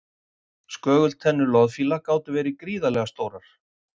skögultennur loðfíla gátu verið gríðarlega stórar